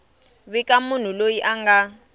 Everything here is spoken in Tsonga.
vika munhu loyi a nga